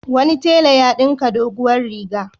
Wani tela ya ɗinka doguwar riga.